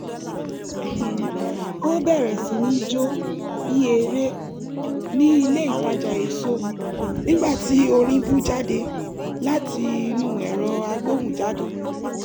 ó bẹ̀rẹ̀ sí ní jó bí eré ní ilé itaja èso nígbà tí orin bú jáde láti inú ẹ̀rọ agbóhùnjáde